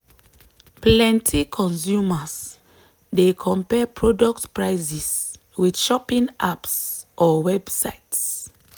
plenty consumers dey compare product prices with shopping apps or websites.